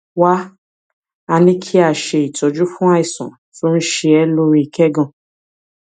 wá a ní kí a ṣe ìtọjú fún àìsàn tó ń ṣe é lórí kẹgàn